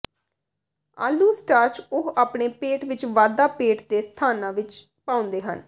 ਆਲੂ ਸਟਾਰਚ ਉਹ ਆਪਣੇ ਪੇਟ ਵਿੱਚ ਵਾਧਾ ਪੇਟ ਦੇ ਸਥਾਨਾਂ ਵਿੱਚ ਪਾਉਂਦੇ ਹਨ